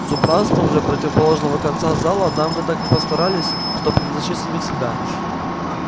с убранством же противоположного конца зала дамы так и постарались что превзошли самих себя